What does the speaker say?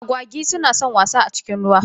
Agwagi su na san wasa a cikin ruwa.